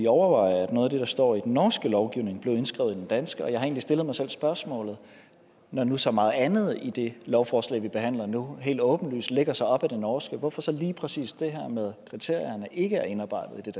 overveje at noget af det der står i den norske lovgivning bliver indskrevet i den danske jeg har egentlig stillet mig selv spørgsmålet når nu så meget andet i det lovforslag vi behandler nu helt åbenlyst lægger sig op ad den norske lov hvorfor så lige præcis det her med kriterierne ikke er indarbejdet